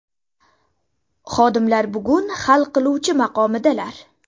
Xodimlar bugun hal qiluvchi maqomidalar!